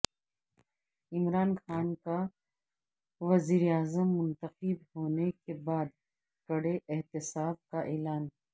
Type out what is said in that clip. عمران خان کا وزیراعظم منتخب ہونے کے بعد کڑے احتساب کا اعلان